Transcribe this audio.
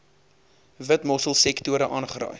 witmossel sektore aangeraai